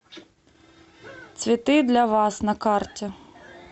цветы для вас на карте